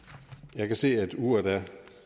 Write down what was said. jeg kan se at uret er